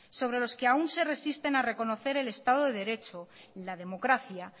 sobre los que aún se resisten a reconocer el estado de derecho y la democracia